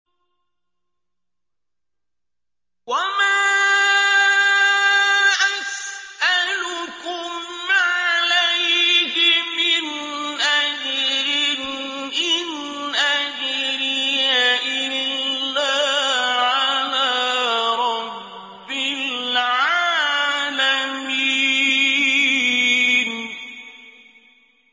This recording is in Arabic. وَمَا أَسْأَلُكُمْ عَلَيْهِ مِنْ أَجْرٍ ۖ إِنْ أَجْرِيَ إِلَّا عَلَىٰ رَبِّ الْعَالَمِينَ